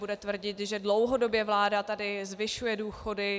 Bude tvrdit, že dlouhodobě vláda tady zvyšuje důchody.